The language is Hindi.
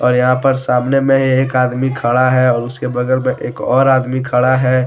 और यहां पर सामने में ही एक आदमी खड़ा है और उसके बगल में एक और आदमी खड़ा है।